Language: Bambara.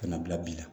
Ka na bila bi la